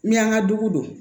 Ni y'an ka dugu don